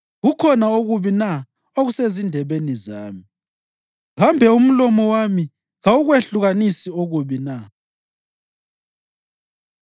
Kukhona okubi na okusezindebeni zami? Kambe umlomo wami kawukwehlukanisi okubi na?”